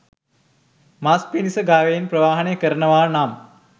මස් පිණිස ගවයන් ප්‍රවාහනය කරනවා නම්